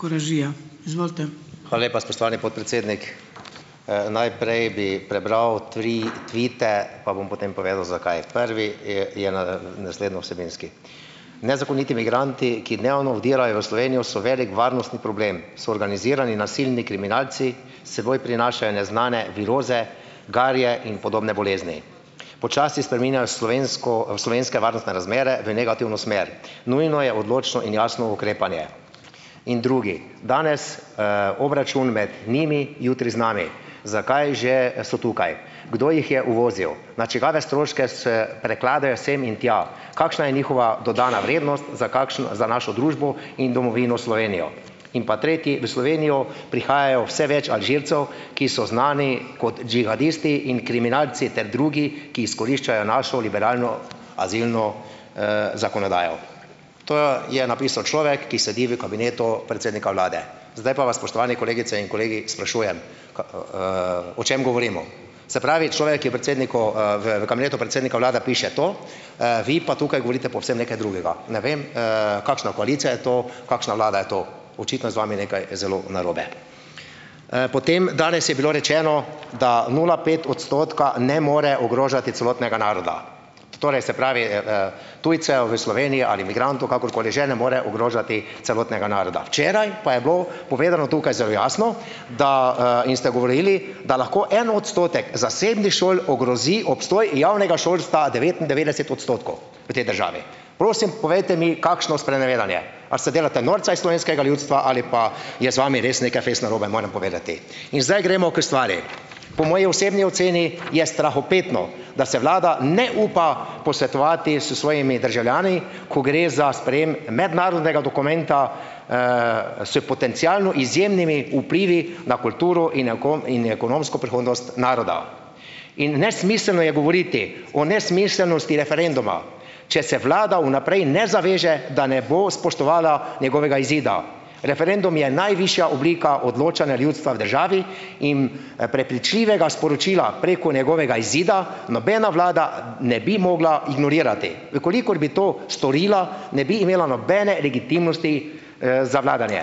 Hvala lepa, spoštovani podpredsednik. Najprej bi prebral tri tvite pa bom potem povedal zakaj. Prvi je je naslednjo vsebinski. Nezakoniti migranti, ki dnevno vdirajo v Slovenijo, so velik varnostni problem, so organizirani nasilni kriminalci, seboj prinašajo neznane viroze, garje in podobne bolezni. Počasi spreminjajo slovensko, slovenske varnostne razmere v negativno smer. Nujno je odločno in jasno ukrepanje. In drugi. Danes, obračun med njimi, jutri z nami. Zakaj že, so tukaj? Kdo jih je uvozil? Na čigave stroške se prekladajo sem in tja? Kakšna je njihova dodana vrednost za za našo družbo in domovino Slovenijo? In pa tretji. V Slovenijo prihaja vse več Alžircev, ki so znani kot džihadisti in kriminalci ter drugi, ki izkoriščajo našo liberalno azilno, zakonodajo. To je napisal človek, ki sedi v kabinetu predsednika vlade. Zdaj pa vas, spoštovani kolegice in kolegi, sprašujem, o čem govorimo? Se pravi, človek je predsedniku, v v kabinetu predsednika vlade piše to, vi pa tukaj govorite povsem nekaj drugega. Ne vem, kakšna koalicija je to, kakšna vlada je to. Očitno je z vami nekaj zelo narobe. Potem, danes je bilo rečeno, da nula pet odstotka ne more ogrožati celotnega naroda. Torej, se pravi, tujcev v Slovenijo ali migrantov, kakorkoli že, ne more ogrožati celotnega naroda. Včeraj pa je bilo povedano tukaj zelo jasno, da, in ste govorili, da lahko en odstotek zasebnih šol ogrozi obstoj javnega šolstva devetindevetdeset odstotkov. v tej državi. Prosim, povejte mi, kakšno sprenevedanje. A se delate norca iz slovenskega ljudstva ali pa je z vami res nekaj fejst narobe, moram povedati. In zdaj gremo k stvari. Po moji osebni oceni je strahopetno, da se vlada ne upa posvetovati s svojimi državljani, ko gre za sprejem mednarodnega dokumenta, s potencialno izjemnimi vplivi na kulturo in in ekonomsko prihodnost naroda. In nesmiselno je govoriti o nesmiselnosti referenduma, če se vlada vnaprej ne zaveže, da ne bo spoštovala njegovega izida. Referendum je najvišja oblika odločanja ljudstva v državi in, prepričljivega sporočila preko njegovega izida nobena vlada ne bi mogla ignorirati. V kolikor bi to storila, ne bi imela nobene legitimnosti, za vladanje.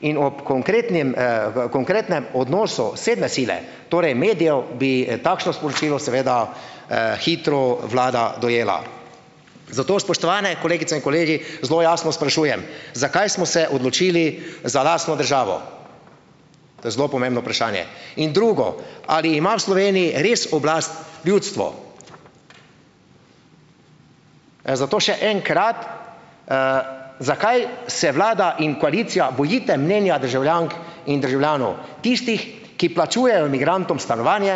In ob konkretnem, v konkretnem odnosu sedme sile, torej medijev, bi, takšno sporočilo seveda, hitro vlada dojela. Zato, spoštovane kolegice in kolegi, zelo jasno sprašujem, zakaj smo se odločili za lastno državo? To je zelo pomembno vprašanje. In drugo, ali ima v Sloveniji res oblast ljudstvo? Zato še enkrat, zakaj se vlada in koalicija bojite mnenja državljank in državljanov, tistih, ki plačujejo migrantom stanovanje,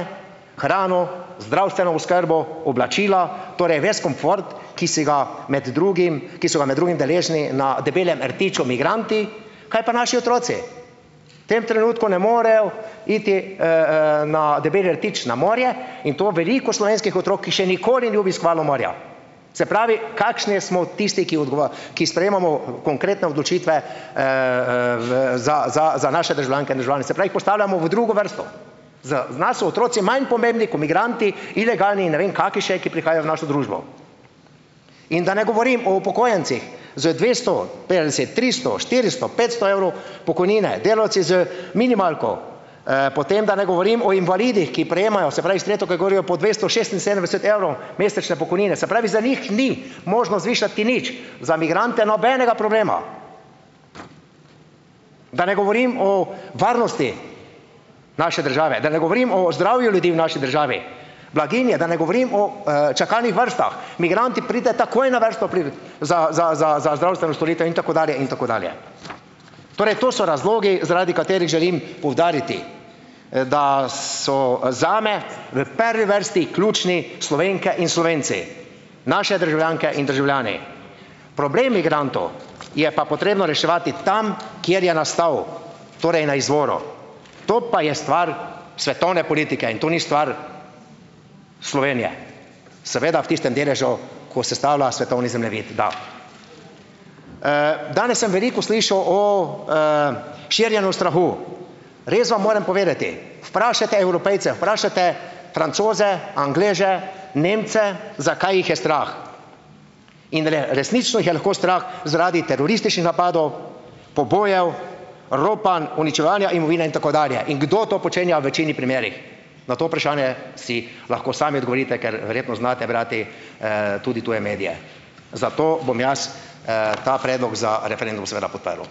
hrano, zdravstveno oskrbo, oblačila, torej ves komfort, ki se ga med drugim, ki so ga med drugim deležni na Debelem rtiču migranti. Kaj pa naši otroci? V tem trenutku ne morejo iti, na Debeli rtič na morje, in to veliko slovenskih otrok, ki še nikoli ni obiskovalo morja. Se pravi, kakšni smo tisti, ki ki sprejemamo konkretne odločitve, za za za naše državljanke in državljane, se pravi, jih postavljamo v drugo vrsto. Za nas so otroci manj pomembni ko migranti, ilegalni in ne vem kaki še, ki prihajajo v našo družbo. In da ne govorim o upokojencih z dvesto petdeset, tristo, štiristo, petsto evrov pokojnine, delavci z minimalko, potem da ne govorim o invalidih, ki prejemajo, se pravi, s tretjo kategorijo po dvesto šestinsedemdeset evrov mesečne pokojnine. Se pravi, za njih ni možno zvišati nič, za migrante nobenega problema. Da ne govorim o varnosti naše države, da ne govorim o zdravju ljudi v naši državi, blaginji, da ne govorim o, čakalnih vrstah. Migrant ti pride takoj na vrsto pri za za za za zdravstveno storitev. In tako dalje in tako dalje. Torej to so razlogi, zaradi katerih želim poudariti, da so, zame v prvi vrsti ključni Slovenke in Slovenci, naše državljanke in državljani. Problem migrantov je pa potrebno reševati tam, kjer je nastal, torej na izvoru. To pa je stvar svetovne politike in to ni stvar Slovenije. Seveda v tistem deležu, ko sestavlja svetovni zemljevid, da. Danes sem veliko slišal o, širjenju strahu. Res vam moram povedati, vprašajte Evropejce, vprašajte Francoze, Angleže, Nemce, zakaj jih je strah. In resnično jih je lahko strah zaradi terorističnih napadov, pobojev, ropanj, uničevanja imovine in tako dalje. In kdo to počenja v večini primerih? Na to vprašanje si lahko sami odgovorite, ker verjetno znate brati, tudi tuje medije. Zato bom jaz, ta predlog za referendum seveda podprl.